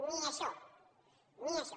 ni això ni això